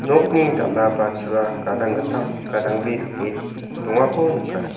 nokni dal·a ba chua gadang gittam gadang bri dake dongako nika.